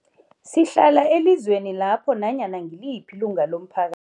Sihlala elizweni lapho nanyana ngiliphi ilunga lomphaka